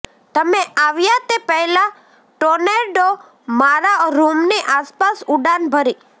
તમે આવ્યા તે પહેલાં ટોર્નેડો મારા રૂમની આસપાસ ઉડાન ભરી